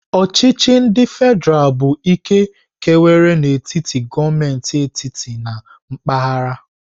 Ochichi ndi fedral bụ ike kewara n'etiti gọọmentị etiti na mpaghara.